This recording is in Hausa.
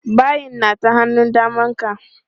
Bayin na ta hannun daman ka.